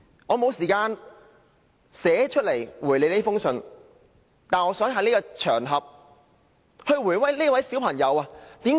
我沒有時間書面回覆這封來信，但我想在此場合回答這位小朋友。